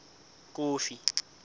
kofi